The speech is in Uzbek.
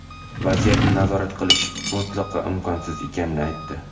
vaziyatni nazorat qilish mutlaqo imkonsiz ekanini aytdi.